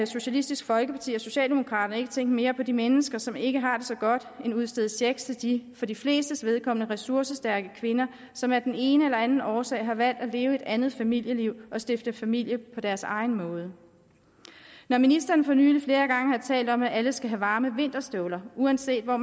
socialistisk folkeparti og socialdemokraterne ikke tænke mere på de mennesker som ikke har det så godt end udstede checks til de for de flestes vedkommende ressourcestærke kvinder som af den ene eller den anden årsag har valgt at leve et andet familieliv og stifte familie på deres egen måde når ministeren for nylig flere gange har talt om at alle skal have varme vinterstøvler uanset hvor